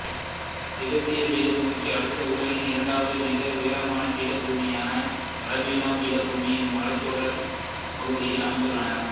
திபெத்திய பீடபூமிக்கு அடுத்து உலகின் இரண்டாவது மிக உயரமான பீடபூமியான அலிப்ளானோ பீடபூமி இம் மலைத்தொடர் பகுதியில் அமைந்துள்ளது